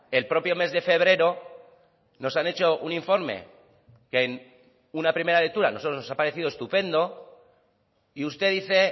el propio mes de febrero nos han hecho un informe que en una primera lectura a nosotros nos ha parecido estupendo y usted dice